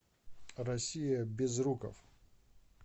россия безруков